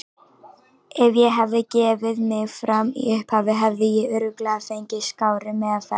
Ef ég hefði gefið mig fram í upphafi hefði ég örugglega fengið skárri meðferð.